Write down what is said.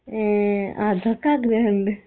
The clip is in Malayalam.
ഏ അതൊക്കെ അഗ്രഹണ്ട്